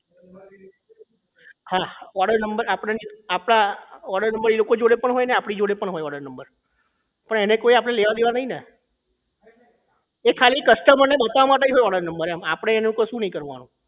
હા order number આપડાની આપડા order number એ લોકો જોડે પણ હોય અને આપણા જોડે પણ હોય but એને આપણે કોઈ લેવા દેવા નહીં ને એ ખાલી customer ને બતાવવા માટે જ હોય Order number આપણે એનું કશું નહીં કરવાનું